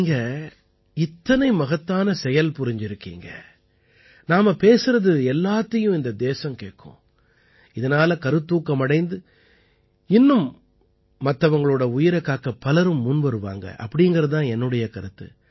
நீங்கள் இத்தனை மகத்தான செயல் புரிந்திருக்கிறீர்கள் நாம் பேசுவது அனைத்தையும் இந்த தேசம் கேட்கும் இதனால் கருத்தூக்கம் அடைந்து இன்னும் பிறரின் உயிரைக் காக்கப் பலரும் முன்வருவார்கள் என்பதே என் கருத்து